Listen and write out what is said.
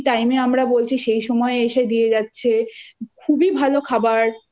dinner. তো চারটে খাবার যেই time এ আমরা বলছি